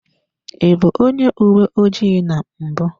I bụ onye uwe ojii na mbụ.